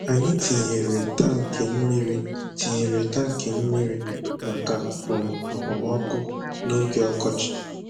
Anyị tinyere tankị mmiri tinyere tankị mmiri maka um okpomọkụ n'oge ọkọchị